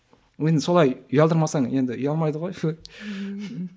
енді солай ұялдырмасаң енді ұялмайды ғой